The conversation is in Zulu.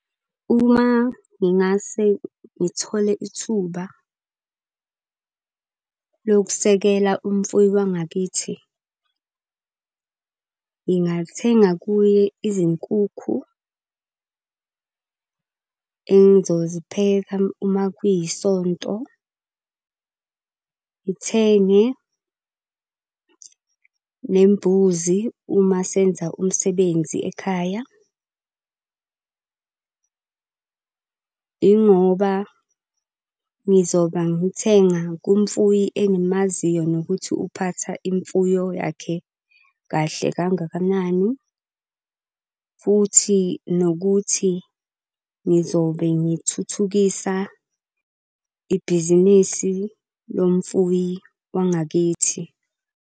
Uma ngingase ngithole ithuba lokusekela umufuyi wangakithi. Ngingathenga kuye izinkukhu engizozipheka uma kuyisonto. Ngithenge nembuzi uma senza umsebenzi ekhaya. Yingoba ngizoba ngithenga kumfuyi engimaziyo nokuthi uphatha imfuyo yakhe kahle kangakanani. Futhi nokuthi ngizobe ngithuthukisa ibhizinisi lo mfuyi wangakithi.